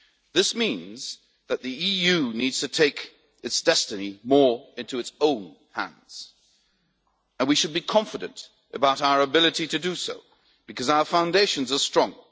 This means that the EU needs to take its destiny more into its own hands and we should be confident about our ability to do so, because our foundations are strong.